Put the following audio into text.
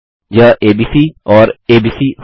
यह एबीसी और एबीसी होगा